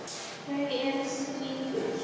Þau eru friðuð.